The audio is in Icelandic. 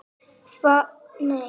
Andri: En hún þekkti þig?